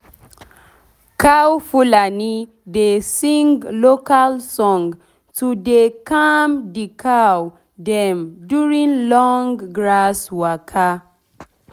cow fulani dey sing local song to dey calm d cow dem during long grass waka.